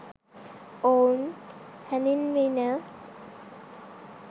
ඔවුන් හැඳීන්විණ.